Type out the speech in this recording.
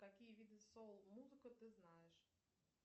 какие виды соул музыка ты знаешь